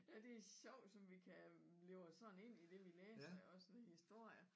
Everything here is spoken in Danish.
Ja det sjovt som vi kan leve og sådan ind i det vi læser også i historier